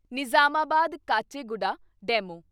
Nizamabad Kacheguda DEMU